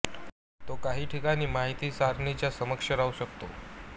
तो काही ठिकाणी माहिती सारणीच्या समकक्ष राहू शकतो